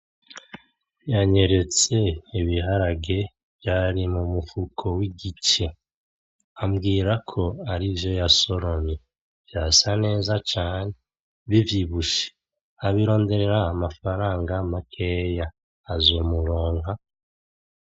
Yanyeretse ibiharage vyari mumufuko wigice. Ambwira ko arivyo yasoromye. Vyasa neza cane bivyibushe. Abironderera amafaranga makeya. Azomuronka?